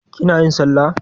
Kina yin sallah?